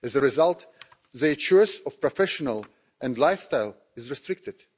As a result, their choice of profession and lifestyle is restricted.